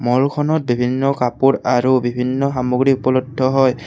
ম'লখনত বিভিন্ন কাপোৰ আৰু বিভিন্ন সামগ্ৰী উপলব্ধ হয়।